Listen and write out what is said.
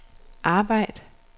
arbejd